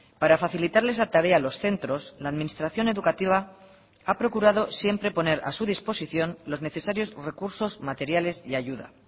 para facilitarles la tarea a los centros la administración educativa ha procurado siempre poner a su disposición los necesarios recursos materiales y ayuda